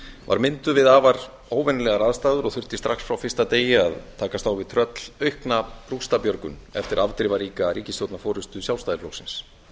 var mynduð við afar óvenjulegar aðstæður og þurfti strax frá fyrsta degi að takast á við tröllaukna rústabjörgun eftir afdrifaríka ríkisstjórnarforustu sjálfstæðisflokksins